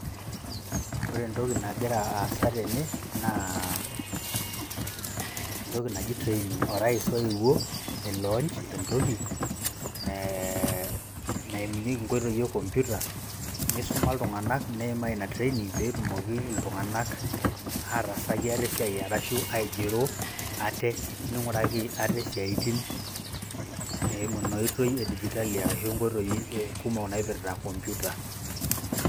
ore entoki nagira aasa tene naa entoki naji training orais oewuo ai launch entoki naimunyieki nkoitoi e computer neisuma iltunganak ,neimaa ina training petumoki iltunganak ataasaki atae esiai ashu aigero ate ,ninguraki ate isiatin eimu ino oitoi e digitali ashu nkoitoi kumok naipirta computer.